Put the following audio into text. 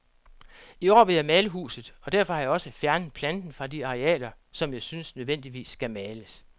I år vil jeg male huset, og derfor har jeg også fjernet planten fra de arealer, som jeg synes nødvendigvis skal males.